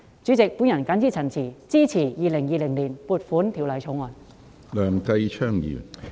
主席，我謹此陳辭，支持《2020年撥款條例草案》。